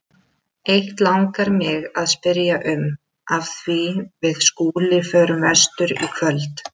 Eitt langar mig að spyrja um, af því við Skúli förum vestur í kvöld.